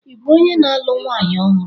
Ị bụ onye na-alụ nwanyị ọhụrụ?